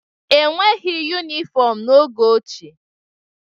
E nweghị yunifọmu n'oge ochie.